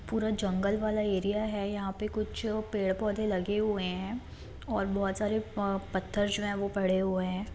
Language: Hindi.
पूरा जंगल वाला एरिया है यहाँ पे कुछ पेड़-पौधे लगे हुए हैं और बहुत सारे प पत्थर जो है वो पड़े हुए हैं।